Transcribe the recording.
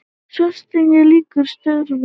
Svartsengi lýkur störfum.